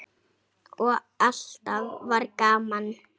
Og alltaf var gaman.